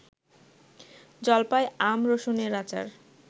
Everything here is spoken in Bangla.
জলপাই, আম, রসুনের আচার